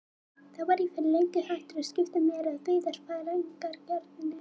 Þá var ég fyrir löngu hættur að skipta mér af veiðarfæragerðinni.